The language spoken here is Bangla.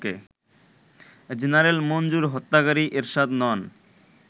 জেনারেল মঞ্জুর হত্যাকারী এরশাদ নন